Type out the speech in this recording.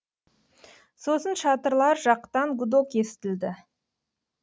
сосын шатырлар жақтан гудок естілді